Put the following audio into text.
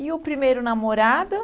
E o primeiro namorado?